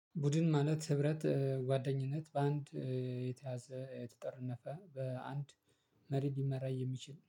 ቡድን ማለት ህብረት ጓደኝነት በአንድ የተያዘ የተጠረነፈ በአንድ መሪ ሊመራ የሚችል